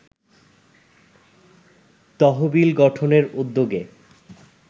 তহবিল গঠনের উদ্যোগে